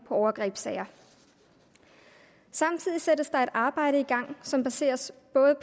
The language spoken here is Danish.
overgrebssager samtidig sættes der et arbejde i gang som baseres